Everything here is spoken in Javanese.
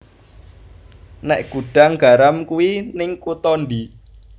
Nek Gudang Garam kui ning kuto ndi